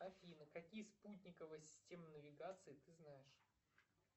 афина какие спутниковые системы навигации ты знаешь